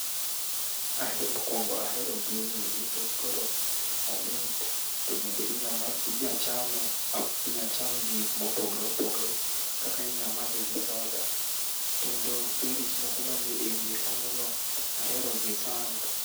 Ahe mokuongo ahero gini nikech koro omit to bende inyamadh inya chame inyachame gi gik mopogore opogore. Kata inya madhe gi soda kendo berries moko man ewiye kanyogo ahero gi sana.